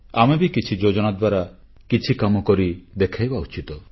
ଆମେ ବି କିଛି ଯୋଜନା ଦ୍ୱାରା କିଛି କାମ କରି ଦେଖାଇବା ଉଚିତ